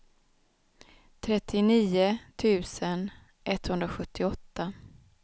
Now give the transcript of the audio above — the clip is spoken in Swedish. trettionio tusen etthundrasjuttioåtta